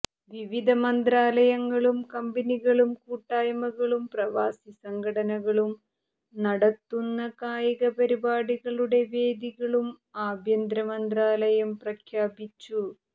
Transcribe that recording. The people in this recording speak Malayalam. വിവിധ മന്ത്രാലയങ്ങളും കമ്പനികളും കൂട്ടായ്മകളും പ്രവാസി സംഘടനകളും നടത്തുന്ന കായിക പരിപാടികളുടെ വേദികളും ആഭ്യന്തര മന്ത്രാലയം പ്രഖ്യാപിച്ചു